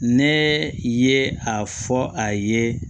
Ne ye a fɔ a ye